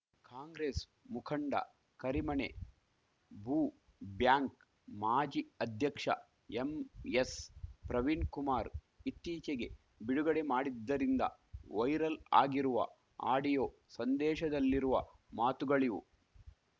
ಕಾಂಗ್ರೆಸ್‌ ಮುಖಂಡ ಕರಿಮನೆ ಭೂ ಬ್ಯಾಂಕ್‌ ಮಾಜಿ ಅಧ್ಯಕ್ಷ ಎಂಎಸ್‌ಪ್ರವೀಣ್‌ಕುಮಾರ್‌ ಇತ್ತೀಚೆಗೆ ಬಿಡುಗಡೆ ಮಾಡಿದ್ದರಿಂದ ವೈರಲ್‌ ಆಗಿರುವ ಆಡಿಯೋ ಸಂದೇಶದಲ್ಲಿರುವ ಮಾತುಗಳಿವು